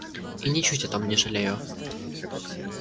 и ничуть о том не жалею